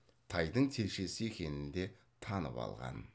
тайдың телшесі екенін де танып алған